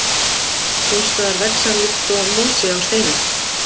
Sums staðar vex hann líkt og mosi á steinum.